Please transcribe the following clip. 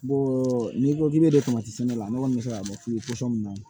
n'i ko k'i bɛ sɛnɛ ne kɔni bɛ se ka mɛn min na